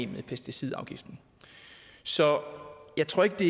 med pesticidafgiften så jeg tror ikke det